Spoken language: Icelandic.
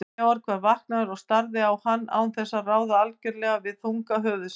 Georg var vaknaður og starði á hann án þess að ráða algjörlega við þunga höfuðsins.